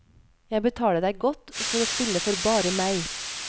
Jeg betaler deg godt for å spille for bare meg.